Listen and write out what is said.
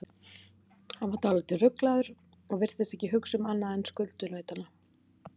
Hann var dálítið ruglaður og virtist ekki hugsa um annað en skuldunautana.